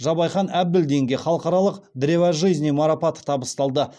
жабайхан әбділдинге халықаралық древо жизни марапаты табысталды